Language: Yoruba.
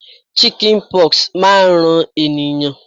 Chicken pox máa ń ran ẹ̀yàn.